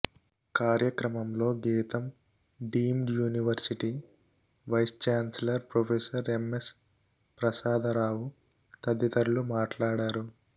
కార్యక్రమంలో Gitam deemed university vice chancellor professor M S Prasadarao తదితరులు మాట్లాడారు